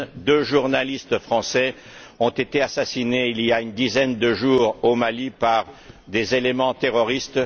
Deux journalistes français ont été assassinés, il y a une dizaine de jours, au Mali par des éléments terroristes.